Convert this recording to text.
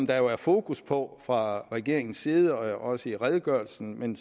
der jo fokus på fra regeringens side også i redegørelsen men